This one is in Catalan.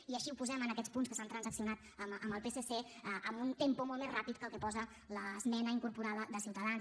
i així ho posem en aquests dos punts que s’han transaccionat amb el psc amb un tempo molt més ràpid que el que posa l’esmena incorporada de ciutadans